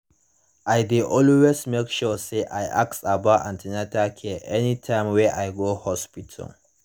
i dey always make sure say i ask about an ten atal care anytime wey i go hospital